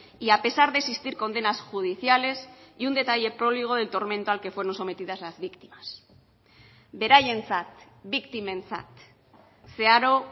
y a pesar de existir condenas judiciales y un detalle próligo del tormento al que fueron sometidas las víctimas beraientzat biktimentzat zeharo